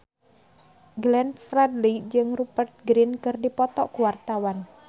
Glenn Fredly jeung Rupert Grin keur dipoto ku wartawan